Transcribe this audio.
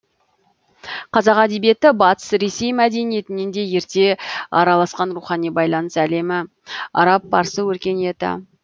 қазақ әдебиеті батыс ресей мәдениетінен де ерте араласқан рухани байланыс әлемі араб парсы өркениеті